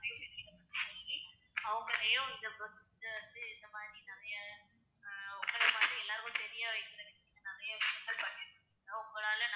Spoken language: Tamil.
அவங்களையும் இந்த மாதிரி நிறைய ஆஹ் உங்களை பார்த்து எல்லாருக்கும் தெரிய வைக்கறதுக்கு நீங்க நிறைய விஷயங்கள் பண்ணிருக்கீங்க உங்களால